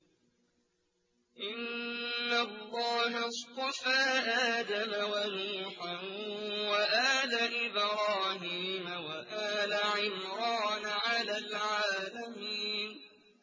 ۞ إِنَّ اللَّهَ اصْطَفَىٰ آدَمَ وَنُوحًا وَآلَ إِبْرَاهِيمَ وَآلَ عِمْرَانَ عَلَى الْعَالَمِينَ